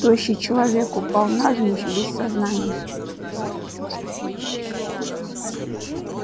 тощий человек упал навзничь без сознания